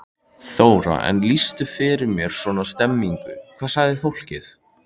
Þóra: En lýstu fyrir mér svona stemmingunni, hvað sagði fólk?